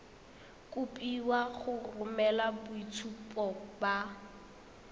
kopiwa go romela boitshupo ba